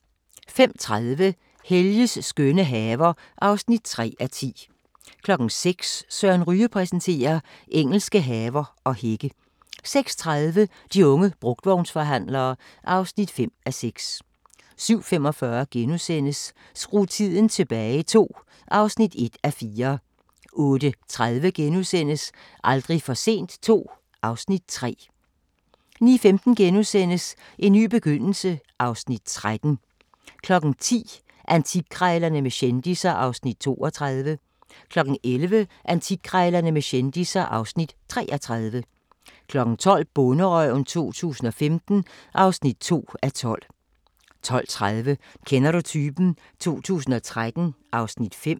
05:30: Helges skønne haver (3:10) 06:00: Søren Ryge præsenterer: Engelske haver og hække 06:30: De unge brugtvognsforhandlere (5:6) 07:45: Skru tiden tilbage II (1:4)* 08:30: Aldrig for sent II (Afs. 3)* 09:15: En ny begyndelse (Afs. 13)* 10:00: Antikkrejlerne med kendisser (Afs. 32) 11:00: Antikkrejlerne med kendisser (Afs. 33) 12:00: Bonderøven 2015 (2:12) 12:30: Kender du typen? 2013 (Afs. 5)